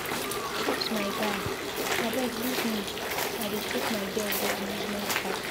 Chuks my guy, abeg leave me I dey take my girl go amusement park.